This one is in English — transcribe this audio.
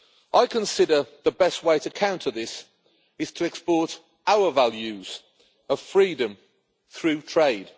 I consider the best way to counter this is to export our values of freedom through trade.